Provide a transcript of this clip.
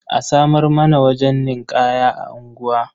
A samar mana wajen ninƙaya a unguwa.